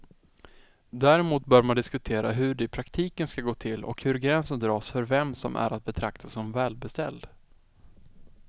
Däremot bör man diskutera hur det i praktiken ska gå till och hur gränsen dras för vem som är att betrakta som välbeställd.